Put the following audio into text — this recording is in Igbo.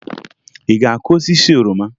Ị ga-akụ osisi oroma?